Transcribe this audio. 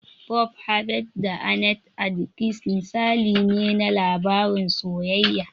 "Bob Harvey da Annete Adkins" misali ne na labarin soyayya.